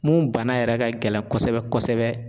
Mun bana yɛrɛ ka gɛlɛn kosɛbɛ kosɛbɛ